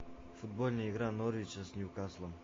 футбольная игра норвича с ньюкаслом